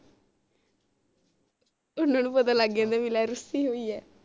ਓਹਨਾ ਨੂੰ ਪਤਾ ਲਗ ਜਾਂਦਾ ਬਾਈ ਲੈ ਰੁਸੀ ਰੋਈ ਐ